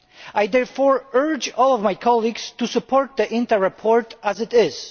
I therefore urge all of my colleagues to support the INTA report as it is.